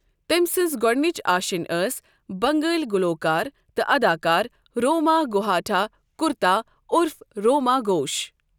تٔمۍ سٕنز گو٘ڈنِچ آشینہِ ٲس بنگٲلۍ گلوكار تہٕ اداكار روُما گُہا ٹھاكُرتا عرف روُما گھوش ۔